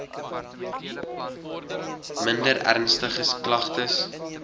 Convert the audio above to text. minder ernstige klagtes